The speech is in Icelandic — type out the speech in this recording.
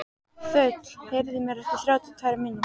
Þöll, heyrðu í mér eftir þrjátíu og tvær mínútur.